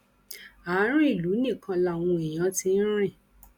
ààrùn ìlú nìkan làwọn èèyàn ti ń rìn